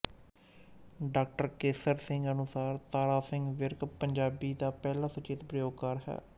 ਡਾ ਕੇਸਰ ਸਿੰਘ ਅਨੁਸਾਰ ਤਾਰਾ ਸਿੰਘ ਵਿਰਕ ਪੰਜਾਬੀ ਦਾ ਪਹਿਲਾ ਸੁਚੇਤ ਪ੍ਰਯੋਗਕਾਰ ਹੈ